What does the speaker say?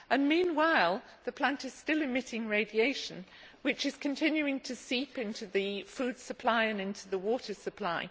meanwhile the plant is still emitting radiation which is continuing to seep into the food supply and into the water supply.